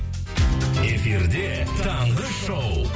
эфирде таңғы шоу